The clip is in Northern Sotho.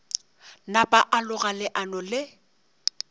napa a loga leano le